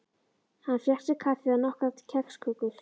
Hann fékk sér kaffi og nokkrar kexkökur.